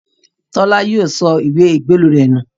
Tọ́lá yóò sọ ìwé ìgbélú rẹ̀ nù